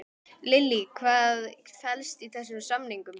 Lillý, hvað felst í þessum samningum?